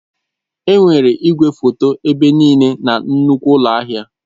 Enwere igwefoto ebe niile na nnukwu ụlọ ahịa.